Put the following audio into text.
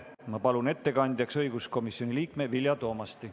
Ma palun ettekandjaks õiguskomisjoni liikme Vilja Toomasti.